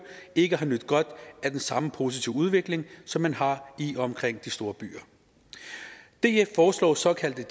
ikke har nydt godt af den samme positive udvikling som man har i og omkring de store byer df foreslår såkaldte